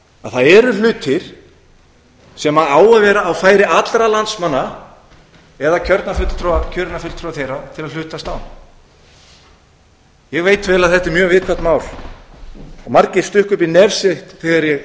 að það eru hlutir sem eiga að vera á færi allra landsmanna eða kjörinna fulltrúa þeirra til að hlutast á um ég veit vel að þetta er mjög viðkvæmt mál og margir stukku upp á nef sér þegar ég